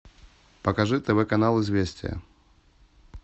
покажи тв канал известия